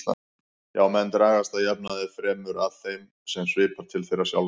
Já, menn dragast að jafnaði fremur að þeim sem svipar til þeirra sjálfra.